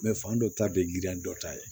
fan dɔ ta de ye girin dɔ ta ye